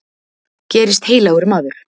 Gerist heilagur maður.